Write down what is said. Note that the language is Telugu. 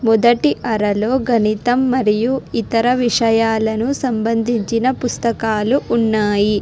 మొదటి అరలో గణితం మరియు ఇతర విషయాలను సంబంధించిన పుస్తకాలు ఉన్నాయి.